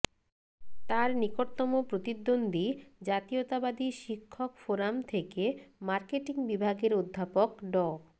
তার নিকটতম প্রতিদ্বন্দ্বী জাতীয়তাবাদী শিক্ষক ফোরাম থেকে মার্কেটিং বিভাগের অধ্যাপক ড